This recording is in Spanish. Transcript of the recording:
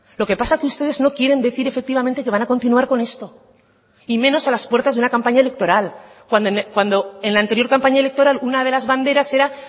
lo que pasa que ustedes no quieren decir efectivamente que van a continuar con esto y menos a las puertas de una campaña electoral cuando en la anterior campaña electoral una de las banderas era